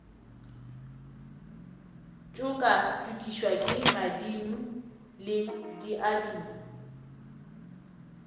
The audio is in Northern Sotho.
tšokatšokišwa ke madimo le diaduma